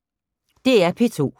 DR P2